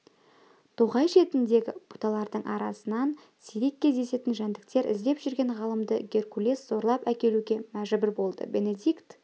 тоғай шетіндегі бұталардың арасынан сирек кездесетін жәндіктер іздеп жүрген ғалымды геркулес зорлап әкелуге мәжбүр болды бенедикт